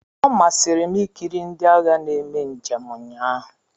Ọ masịrị m ikiri ndị agha na-eme njem ụnyaahụ.